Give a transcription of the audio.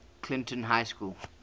clinton high school